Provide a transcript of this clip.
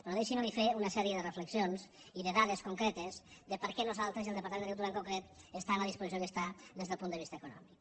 però deixin me fer li una sèrie de reflexions i de dades concretes de per què nosaltres i el departament d’agricultura en concret està en la disposició en què està des del punt de vista econòmic